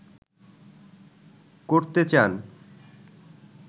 করতে চান